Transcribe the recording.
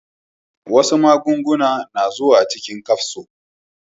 Wasu maganin na zuwa cikin kafso